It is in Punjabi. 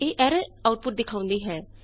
ਇਹ ਐਰਰ ਆਊਟਪੁਟ ਦਿਖਾਉਂਦੀ ਹੈ